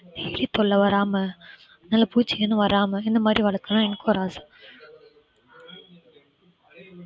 எலி தொல்லை வராம நல்ல பூச்சி எதுவும் வராம இந்த மாதிரி வளர்க்கணும்னு எனக்கு ஒரு ஆசை.